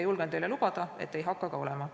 Julgen teile lubada, et ei hakka ka olema.